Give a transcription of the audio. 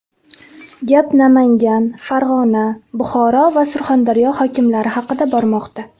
Gap Namangan, Farg‘ona, Buxoro va Surxondaryo hokimlari haqida bormoqda.